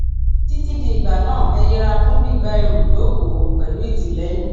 titi di ìgbà náà ẹ yẹra fún gbígba ẹrù jókòó pẹlú ìtìlẹyìn